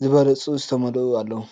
ዝበለጹ ዝተመልኡ ኣለዉ።